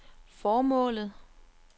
formålet